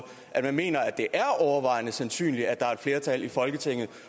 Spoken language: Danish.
at man mener at det er overvejende sandsynligt at der er et flertal i folketinget